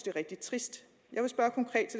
er rigtig trist